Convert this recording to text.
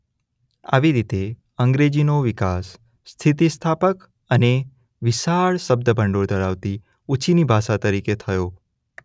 આવી રીતે અંગ્રેજીનો વિકાસ સ્થિતિસ્થાપક અને વિશાળ શબ્દભંડોળ ધરાવતી ઉછીની ભાષા તરીકે થયો.